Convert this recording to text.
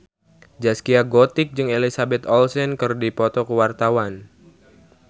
Zaskia Gotik jeung Elizabeth Olsen keur dipoto ku wartawan